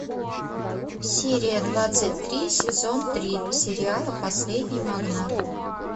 серия двадцать три сезон три сериала последний магнат